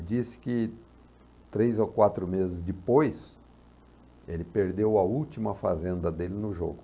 disse que três ou quatro meses depois, ele perdeu a última fazenda dele no jogo.